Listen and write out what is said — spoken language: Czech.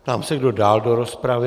Ptám se, kdo dál do rozpravy?